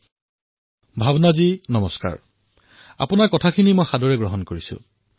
নমস্কাৰ ভাৱনাজী মই আপোনাৰ ভাৱনাৰ আদৰ কৰিছোঁ